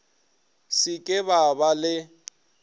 se ke ba ba le